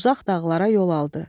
Uzaq dağlara yol aldı.